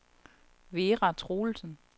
Vera Troelsen